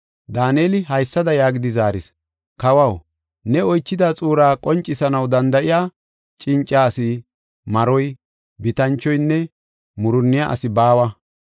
Daaneli haysada yaagidi zaaris: “Kawaw, ne oychida xuuraa qoncisanaw danda7iya cinca asi, maroy, bitanchoynne, murunniya asi baawa.